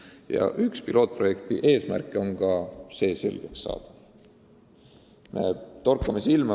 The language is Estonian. Ja üks pilootprojekti eesmärk on ka see selgeks saada.